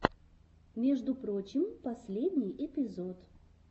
между прочим последний эпизод